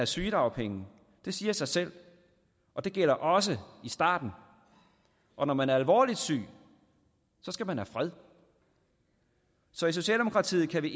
sygedagpenge det siger sig selv og det gælder også i starten og når man er alvorligt syg skal man have fred så i socialdemokratiet kan vi